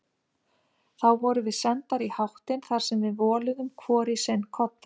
Þá vorum við sendar í háttinn þar sem við voluðum hvor í sinn koddann.